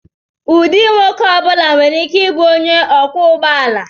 Ụdị nwoke ọ bụla nwere ike ịbụ onye ọkwọ ụgbọ ala.